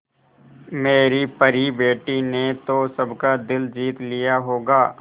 मेरी परी बेटी ने तो सबका दिल जीत लिया होगा